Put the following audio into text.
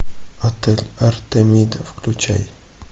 отель артемида включай